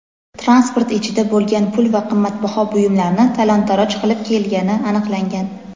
transport ichida bo‘lgan pul va qimmatbaho buyumlarni talon-toroj qilib kelgani aniqlangan.